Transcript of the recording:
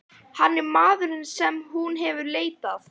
Hann er maðurinn sem hún hefur leitað.